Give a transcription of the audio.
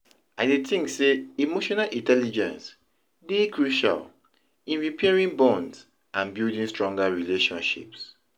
I dey think say emotional intelligence dey crucial in repairing bonds and building stronger relationships.